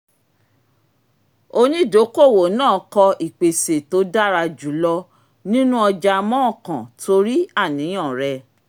onídokoowó náà kọ ìpèsè tó dára jùlọ nínú ọjà mọ́ọ̀kàn torí àníyàn rẹ